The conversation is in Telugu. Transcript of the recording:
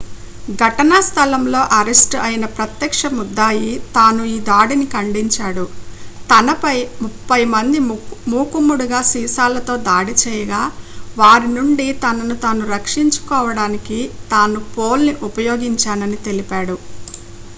ఘటనా స్థలంలో అరెస్ట్ అయిన ప్రత్యక్ష ముద్దాయి తాను ఈ దాడిని ఖండించాడు తనపై ముప్పై మంది మూకుమ్మడిగా సీసాలతో దాడి చేయగా వారి నుండి తనను తాను రక్షించుకోవడానికి తాను పోల్ను ఉపయోగించానని తెలిపాడు